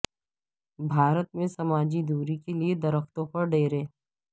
بھارت میں سماجی دوری کے لیے درختوں پر ڈیرے